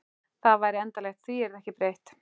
Það væri endanlegt, því yrði ekki breytt.